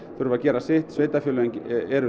þurfa að gera sitt sveitarfélögin eru